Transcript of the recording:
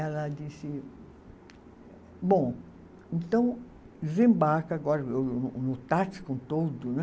Ela disse, bom, então desembarca agora no táxi com todo, né?